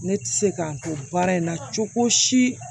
Ne tɛ se k'an to baara in na cogo si